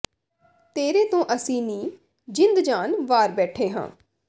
ਤੇਰੇ ਤੋਂ ਅਸੀਂ ਨੀ ਜਿੰਦ ਜਾਨ ਵਾਰ ਬੈਠੇਂ ਹਾਂ